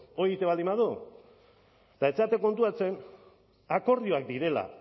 hori egiten baldin badu eta ez zarete konturatzen akordioak direla